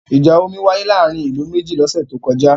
Ìjà omi wáyé láàárín ìlú méjì lọ́sẹ̀ tó kọjá.